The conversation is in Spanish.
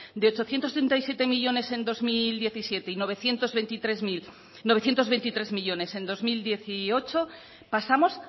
de ochocientos treinta y siete millónes en dos mil diecisiete y novecientos veintitrés mil novecientos veintitrés millónes en dos mil dieciocho pasamos